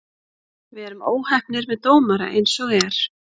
Við erum óheppnir með dómara eins og er.